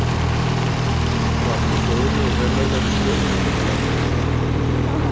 Var hún í góðri og vel launaðri stöðu hjá Kaupfélagi